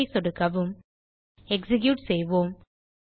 save ஐ சொடுக்கவும் execute செய்வோம்